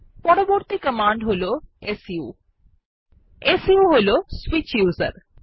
পরবর্তী কমান্ড হল su su হল সুইচ উসের